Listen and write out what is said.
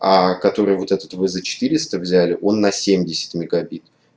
а который вот этот вот вы за четыреста взяли он на семьдесят мегабит